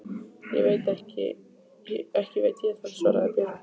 Ekki veit ég það, svaraði Björn.